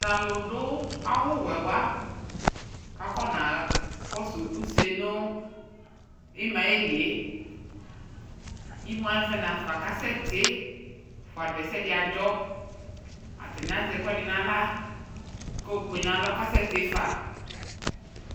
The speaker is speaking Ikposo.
Talu do awuwɛ wa ka kɔna kɔso use no imaɛ lie Imu avɛ nafa kasɛ te fuado asɛde adzɔAtane azɛ ɛkuɛde nahla ko kpe nalɔ kasɛ te fa